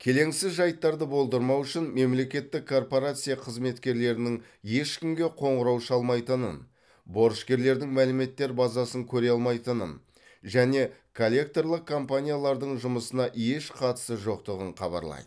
келеңсіз жайттарды болдырмау үшін мемлекеттік корпорация қызметкерлерінің ешкімге қоңырау шалмайтынын борышкерлердің мәліметтер базасын көре алмайтынын және коллекторлық компаниялардың жұмысына еш қатысы жоқтығын хабарлайды